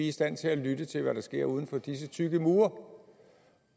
i stand til at lytte til hvad der sker uden for disse tykke mure